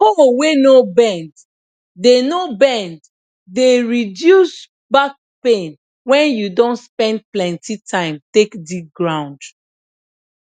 hoe wey no bend de no bend de reduce back pain wen you don spend plenty time take dig ground